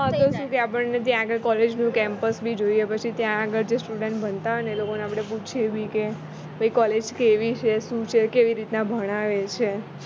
હ તો શું કે આપણને ત્યાં આગળ collage નું campus બી જોઈએ પછી ત્યાં આગળ જે student ભણતા હોય ને એ લોકો ને આપણે પૂછયે બી કે ભૈ college કેવી છે શું છે કેવી રીતના ભણાવે છે